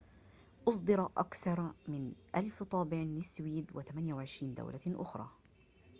أصدر أكثر من 1,000 طابع للسويد و28 دولة أخرى